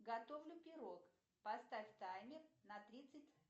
готовлю пирог поставь таймер на тридцать